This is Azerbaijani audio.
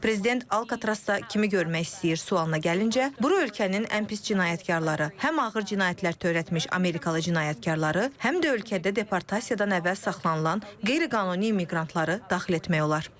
Prezident Alkatrazda kimi görmək istəyir sualına gəlincə, bura ölkənin ən pis cinayətkarları, həm ağır cinayətlər törətmiş amerikalı cinayətkarları, həm də ölkədə departamentdən əvvəl saxlanılan qeyri-qanuni immiqrantları daxil etmək olar.